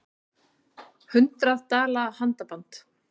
Hundrað dala handaband